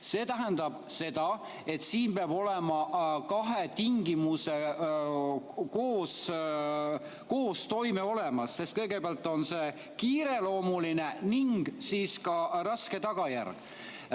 See tähendab seda, et siin peab olema kahe tingimuse koostoime olemas, sest kõigepealt on see kiireloomuline ning siis ka raske tagajärg.